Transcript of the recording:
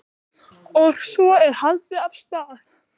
Og svo er haldið af stað.